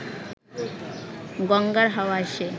গঙ্গার হাওয়া এসে